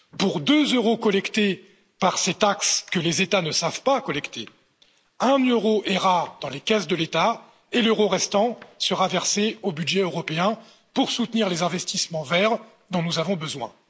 Pour deux euros collectés par ces taxes que les États ne savent pas collecter, un euro ira dans les caisses de l'État et l'euro restant sera versé au budget européen, pour soutenir les investissements verts dont nous avons besoin.